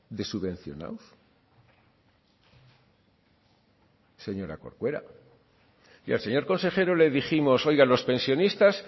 de subvencionados señora corcuera y al señor consejero le dijimos oiga los pensionistas